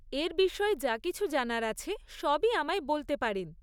এর বিষয়ে যা কিছু জানার আছে সবই আমায় বলতে পারেন।